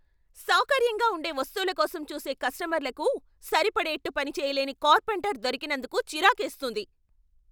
సౌకర్యంగా ఉండే వస్తువుల కోసం చూసే కస్టమర్లకు సరిపడేట్టు పనిచేయలేని కార్పెంటర్ దొరికినందుకు చిరాకేస్తుంది.